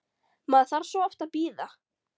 Maður þarf svo oft að bíða!